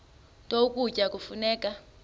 nto ukutya kufuneka